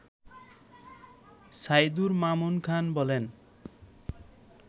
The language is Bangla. সাইদুর মামুন খান বলেন